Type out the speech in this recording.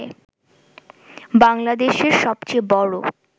বাংলাদেশের সবচেয়ে বড়